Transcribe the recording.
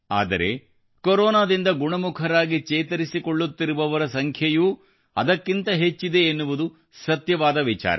ಆದರೆ ಕೊರೋನಾದಿಂದ ಗುಣಮುಖರಾಗಿ ಚೇತರಿಸಿಕೊಳ್ಳುತ್ತಿರುವವರ ಸಂಖ್ಯೆಯೂ ಅದಕ್ಕಿಂತ ಹೆಚ್ಚಿದೆ ಎನ್ನುವುದು ಸತ್ಯವಾದ ವಿಚಾರ